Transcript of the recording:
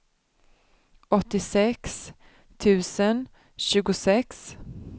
åttiosex tusen tjugosex